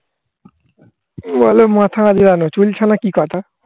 খুব ভালো মাথা আগড়ানো. চুল ছাড়া কি কথা?